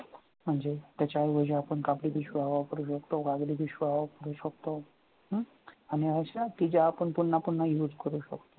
त्याच्या ऐवजी आपण कापडी पिशव्या वापरू शकतो कागदी पिशव्या वापरू शकतो हा आणि अशा की ज्या आपण पुन्हा पुन्हा use करू शकतो